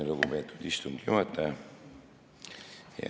Lugupeetud istungi juhataja!